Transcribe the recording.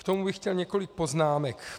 K tomu bych chtěl několik poznámek.